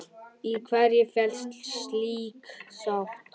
Í hverju felst slík sátt?